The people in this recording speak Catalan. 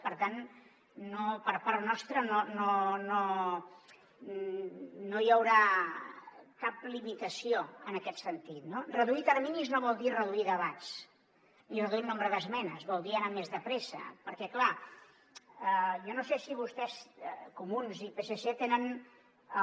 per tant per part nostra no hi haurà cap limitació en aquest sentit no reduir terminis no vol dir reduir debats ni reduir el nombre d’esmenes vol dir anar més de pressa perquè clar jo no sé si vostès comuns i psc tenen el